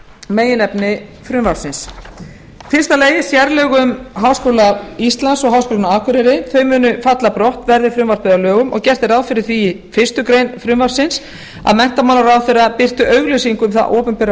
meginefni frumvarpsins fyrstu sérlög um háskóla íslands og háskólann á akureyri munu falla brott verði frumvarpið að lögum og gert er ráð fyrir því í fyrstu grein frumvarpsins að menntamálaráðherra birti auglýsingu um þá opinberu